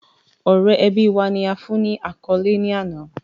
Ọrẹ ẹbi wa, ni a fun ni akọle ni ana